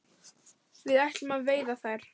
Við ætlum að veiða þær